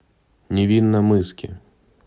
невинномысске